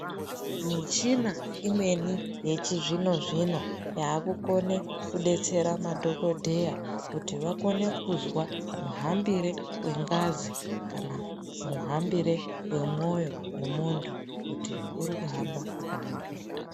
Michina imweni yechizvino-zvino yaakukone kudetsera madhogodheya kuti vakone kuzwa muhambire wengazi kana muhambire wemwoyo wemuntu kuti urikuhamba zvakanaka here.